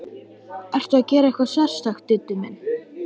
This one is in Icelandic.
Ertu að gera eitthvað sérstakt, Diddi minn.